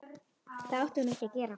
Það átti hún ekki að gera.